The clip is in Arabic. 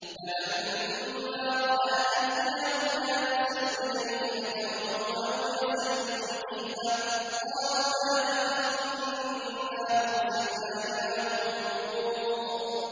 فَلَمَّا رَأَىٰ أَيْدِيَهُمْ لَا تَصِلُ إِلَيْهِ نَكِرَهُمْ وَأَوْجَسَ مِنْهُمْ خِيفَةً ۚ قَالُوا لَا تَخَفْ إِنَّا أُرْسِلْنَا إِلَىٰ قَوْمِ لُوطٍ